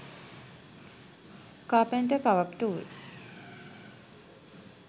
carpenter power tool